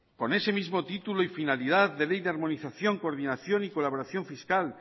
con ese mismo título y finalidad de ley de armonización coordinación y colaboración fiscal